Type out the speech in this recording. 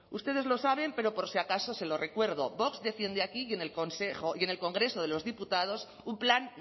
ustedes lo saben pero por si acaso se lo recuerdo vox defiende aquí y en el congreso de los diputados un plan